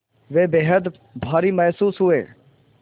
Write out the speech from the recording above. वे बेहद भारी महसूस हुए